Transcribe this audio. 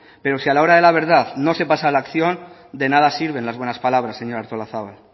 pero si a la hora de la verdad no se pasa a la acción de nada sirven las buenas palabras señora artolazabal